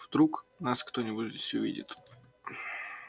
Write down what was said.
вдруг нас кто-нибудь здесь увидит